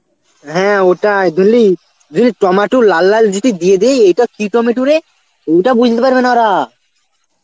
হ্যাঁ ওটাই বুঝলি, যদি টমাটু লাল লাল যদি দিয়ে দিই এটা কি টমেটু রে ওটা বুঝতে পারবে না ওরা